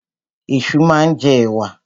Ẹ̀ṣu máa ń jẹ ẹ̀wà.